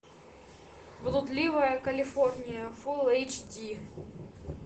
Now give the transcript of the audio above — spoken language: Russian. блудливая калифорния фулл эйч ди